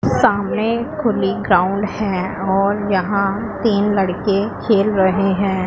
सामने खुली ग्राउंड है और यहां तीन लड़के खेल रहे हैं।